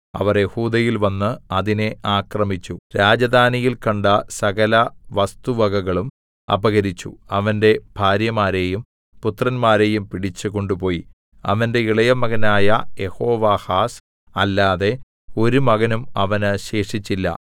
അവർ യെഹൂദയിൽ വന്ന് അതിനെ ആക്രമിച്ചു രാജധാനിയിൽ കണ്ട സകല വസ്തുവകകളും അപഹരിച്ചു അവന്റെ ഭാര്യമാരെയും പുത്രന്മാരെയും പിടിച്ചു കൊണ്ടുപോയി അവന്റെ ഇളയമകനായ യെഹോവാഹാസ് അല്ലാതെ ഒരു മകനും അവന് ശേഷിച്ചില്ല